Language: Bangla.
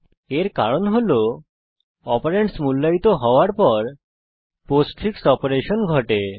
এর কারণ হল অপারেন্ডস মূল্যায়িত হওয়ার পর পোস্টফিক্স অপারেশন ঘটে